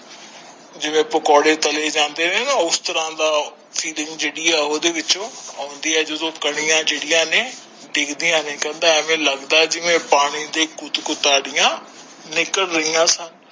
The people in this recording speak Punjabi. ਜਿਵੇਂ ਪਕੌੜੇ ਤਲੇ ਜਾਂਦੇ ਨੇ ਨਾ ਉਸ ਤਰਾਂ ਦਾ feeling ਜੇਹੜੀ ਓਹਦੇ ਵਿੱਚੋ ਆਉਂਦੇ ਆ ਜਦੋ ਕਣੀਆਂ ਨੇ ਡਿਗਦੀਆਂ ਨੇ ਐਵੇ ਲਗਦਾ ਜਿਵੇਂ ਪਾਣੀ ਦੀ ਗੁਧ ਗੁਦਾਰੀਆਂ ਨਿਕਲ ਰਹੀਆਂ ਸਨ।